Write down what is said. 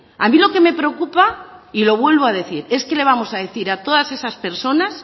a mí lo que me preocupa y lo vuelvo a decir es qué le vamos a decir a todas esas personas